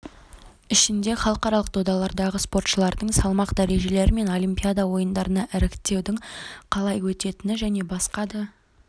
ішінде халықаралық додалардағы спортшылардың салмақ дәрежелері мен олимпиада ойындарына іріктеудің қалай өтетіні және басқа да